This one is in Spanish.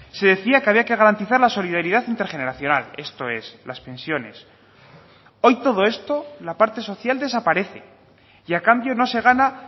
se decía que había que garantizar la solidaridad intergeneracional esto es las pensiones hoy todo esto la parte social desaparece y a cambio no se gana